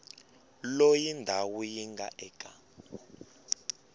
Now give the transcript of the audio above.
loyi ndhawu yi nga eka